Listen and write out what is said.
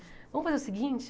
Vamos fazer o seguinte?